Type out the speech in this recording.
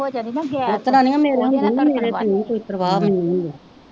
ਇਹ ਜਦੋਂ ਹੋ ਜਾਂਦੀ ਨਾਂ ਗੈਸ ਓਦੇ ਨਾਲ ਧੜਕਨ ਵੱਧ ਜਾਂਦੀ ਕੋਈ ਪਰਵਾ ਮੈਂਨੂੰ ਹੁੰਦੀ,